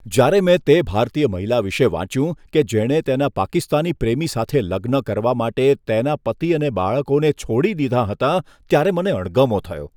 જ્યારે મેં તે ભારતીય મહિલા વિશે વાંચ્યું કે જેણે તેના પાકિસ્તાની પ્રેમી સાથે લગ્ન કરવા માટે તેના પતિ અને બાળકોને છોડી દીધાં હતાં, ત્યારે મને અણગમો થયો.